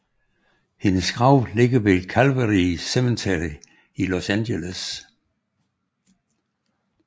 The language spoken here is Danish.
Hendes grav ligger ved Calvary Cemetery i Los Angeles